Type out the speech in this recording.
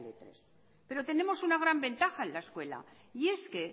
tres pero tenemos una gran ventaja en la escuela y es que